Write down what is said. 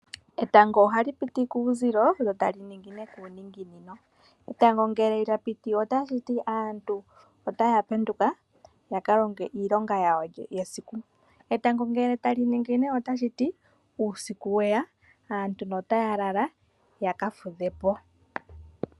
Etango ohali piti kuuzilo lyo ta li ningine kuuninginino. Etango ngele lya piti otashi ti aantu ota ya penduka ya kalonge iilonga yawo yesiku. Etango ngele tali ningine otashi ti uusiku weya aantu notaya lala yaka fudhe po.